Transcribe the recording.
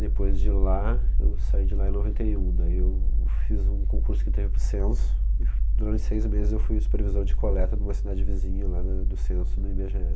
Depois de lá, eu saí de lá em noventa e um, daí eu fiz um concurso que teve para o Censo, e f, durante seis meses eu fui supervisor de coleta de uma cidade vizinha lá do Censo, no i be ge é